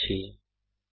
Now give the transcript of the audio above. অংশগ্রহনের জন্য ধন্যবাদ